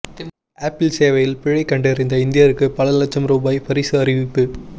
apple சேவையில் பிழை கண்டறிந்த இந்தியருக்கு பல லட்சம் ரூபாய் பரிசு அறிவிப்பு